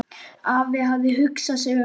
Afi hafði hugsað sig um.